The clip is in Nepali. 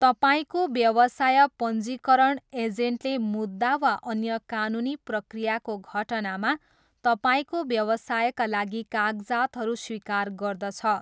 तपाईँको व्यवसाय पञ्जीकरण एजेन्टले मुद्दा वा अन्य कानुनी प्रक्रियाको घटनामा तपाईँको व्यवसायका लागि कागजातहरू स्वीकार गर्दछ।